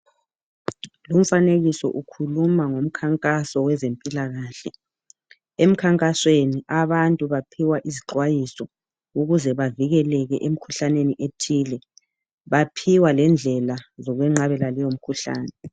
Lumfanekiso ukhuluma ngomnkankaso wezempilakahle. Emnkankasweni abantu baphiwa izixwayiso ukuze bavikeleke emkhuhlaneni ethile. Baphiwa lendlela zokweqhabela leyo mikhuhlane.